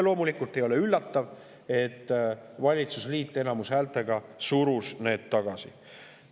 Loomulikult ei ole üllatav, et valitsusliit enamushäältega surus need tagasi.